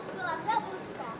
Üstü var, altı yoxdur.